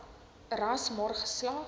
ras maar geslag